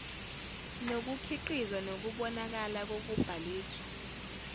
nokukhiqizwa nokubonakala kokubhaliswa